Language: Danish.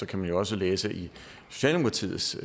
kan man også læse i socialdemokratiets